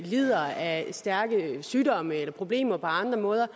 lider af stærke sygdomme eller problemer på andre måder